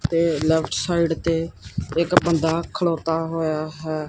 ਤੇ left side ਤੇ ਇੱਕ ਬੰਦਾ ਖਲੌਤਾ ਹੋਇਆ ਹੈ।